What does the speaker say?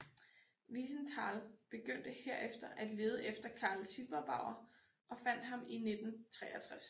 Wiesenthal begyndte herefter at lede efter Karl Silberbauer og fandt ham i 1963